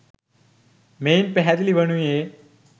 මෙයින් පැහැදිලි වනුයේ